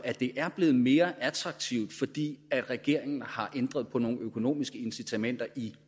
at det er blevet mere attraktivt fordi regeringen har ændret på nogle økonomiske incitamenter i